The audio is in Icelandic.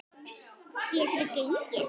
Geturðu gengið?